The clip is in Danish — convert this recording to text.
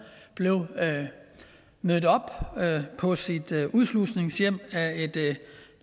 blev mødt på sit udslusningshjem af et